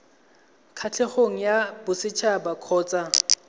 kgatlhegong ya boset haba kgotsa